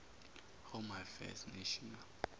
home affairs national